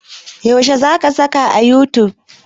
Yaushe za ka saka a youtube?